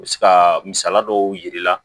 U bɛ se ka misaliya dɔw yir'i la